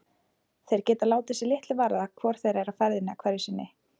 Þeir geta látið sig litlu varða hvor þeirra er á ferðinni hverju sinni.